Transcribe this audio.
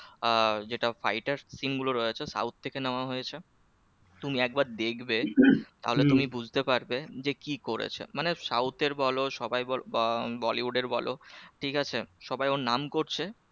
আহ যেটা fight এর screen গুলো রয়েছে south থেকে নেওয়া হয়েছে তুমি একবার দেখবে তাহলে তুমি বুঝতে পারবে যে কি করেছে মানে south এর বল সবাই আহ bollywood এর বল ঠিক আছে? সবাই ওর নাম করছে